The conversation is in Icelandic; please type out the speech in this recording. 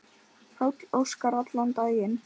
Páll Óskar allan daginn.